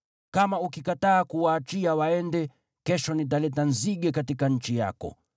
Kama ukikataa kuwaachia waende, kesho nitaleta nzige katika nchi yako.